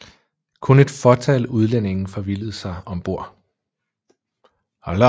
Kun et fåtal udlændinge forvildede sig om bord